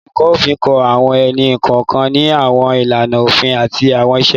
Oluko Ofin kọ awọn ẹni-kọọkan ni awọn ilana ofin ati awọn iṣe.